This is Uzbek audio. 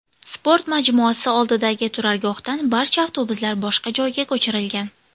Sport majmuasi oldidagi turargohdan barcha avtobuslar boshqa joyga ko‘chirilgan.